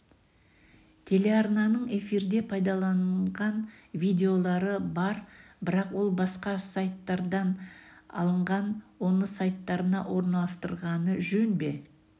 телеарнаның эфирде пайдаланылған видеолары бар бірақ ол басқа сайттардан алынған оны сайттарына орналастырғаны жөн бе